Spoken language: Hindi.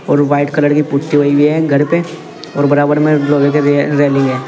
और व्हाईट कलर की पुट्टी हुई है घर पे और बराबर में लोहे की रेलिंग है।